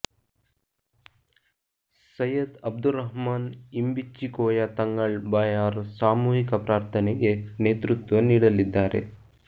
ಸೈಯದ್ ಅಬ್ದುರ್ರಹ್ಮಾನ್ ಇಂಬಿಚ್ಚಿಕೋಯ ತಂಙಳ್ ಬಾಯಾರ್ ಸಾಮೂಹಿಕ ಪ್ರಾರ್ಥನೆಗೆ ನೇತೃತ್ವ ನೀಡಲಿದ್ದಾರೆ